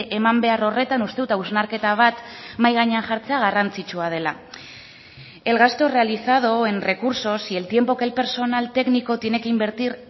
eman behar horretan uste dut hausnarketa bat mahai gainean jartzea garrantzitsua dela el gasto realizado en recursos y el tiempo que el personal técnico tiene que invertir